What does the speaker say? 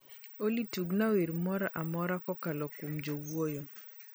olly tugona wer mar mor kokalo kuom jowuoyo